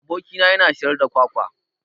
Aboki na yana siyar da kwakwa